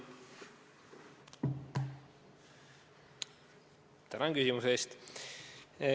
Tänan küsimuse eest!